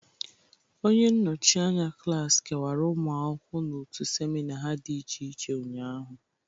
Onye nnọchị anya klasị kewara ụmụ akwụkwọ n'otu semina ha dị iche iche ụnyaahụ